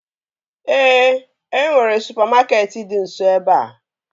Ee, e nwere supamakeetị dị nso ebea